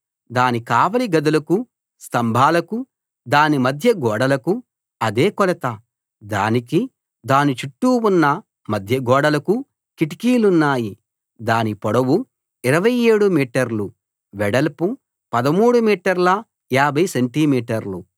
దాని కావలి గదులకు స్తంభాలకు దాని మధ్య గోడలకు అదే కొలత దానికి దాని చుట్టూ ఉన్న మధ్య గోడలకు కిటికీలున్నాయి దాని పొడవు 27 మీటర్లు వెడల్పు 13 మీటర్ల 50 సెంటి మీటర్లు